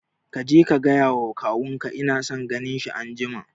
Kaje ka gaya wa kawun ka ina son ganin shi anjima